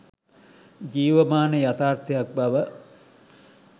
ජීවමාන යථාර්ථයක් බව